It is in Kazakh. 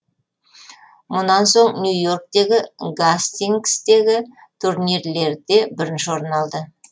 мұнан соң нью йорктегі гастингстегі турнирлерде бірінші орын алды